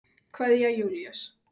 Kveðja, Júlíus.